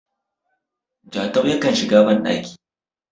Jatau yakan shiga bandaki